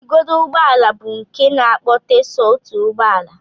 Igodo ụgbọala bụ nke na-akpọte so otu ụgbọala